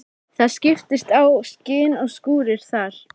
Það skiptast á skin og skúrir þar.